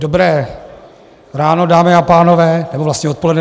Dobré ráno, dámy a pánové, nebo vlastně odpoledne.